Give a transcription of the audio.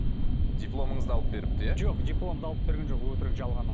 дипломыңызды алып беріпті иә жоқ дипломды алып берген жоқ өтірік жалған ол